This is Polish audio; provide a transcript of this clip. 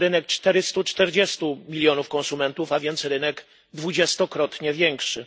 440 milionów konsumentów, a więc rynkiem dwudziestokrotnie większym.